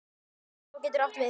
Svartá getur átt við